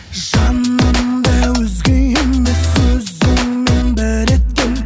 жанымды өзге емес өзіңмен бір еткен